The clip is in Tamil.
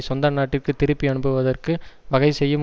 சொந்த நாட்டிற்கு திருப்பி அனுப்புவதற்கு வகை செய்யும்